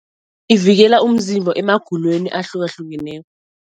Ivikela umzimba emagulweni ahlukahlukeneko.